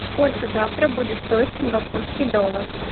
сколько завтра будет стоить сингапурский доллар